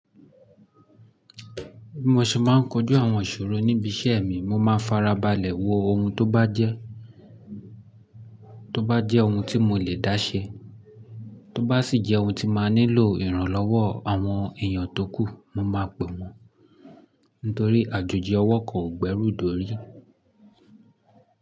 Bí mo ṣe máa ń kojú àwọn ìṣòro níbi iṣẹ́ mi, mo máa farabalẹ̀ wo ohun tó bá jẹ́, tó bá jẹ́ ohun tí mo lè dáṣẹ́, tó bá sì jẹ́ ohun tí màá nílò ìrànlọ́wọ́ àwọn èèyàn tókù, mo máa pè wọ́n nítorí àjòjì ọwọ́ kan o gbẹ́rù dòrí.